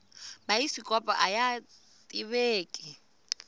bayisikopo aya tiveki